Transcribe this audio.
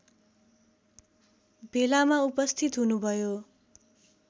भेलामा उपस्थित हुनुभयो